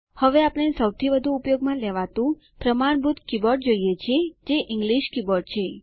હવે આપણે સૌથી વધુ ઉપયોગમાં લેવાતું પ્રમાણભૂત કીબોર્ડ જોઈએ છીએ જે ઇંગલિશ કીબોર્ડ છે